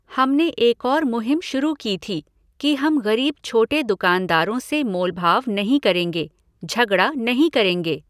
हमने एक और मुहिम शुरू की थी कि हम ग़रीब छोटे दुकानदारों से मोलभाव नहीं करेंगे, झगड़ा नहीं करेंगे।